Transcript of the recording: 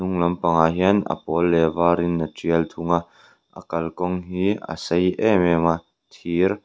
hnung lam pangah hian a pawl leh a var in a ṭial thunga a kalkawng hi a sei em em a thir.